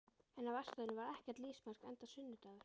En á verkstæðinu var ekkert lífsmark enda sunnudagur.